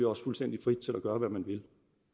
også fuldstændig fri til at gøre hvad man vil